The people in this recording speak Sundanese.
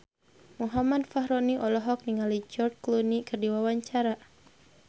Muhammad Fachroni olohok ningali George Clooney keur diwawancara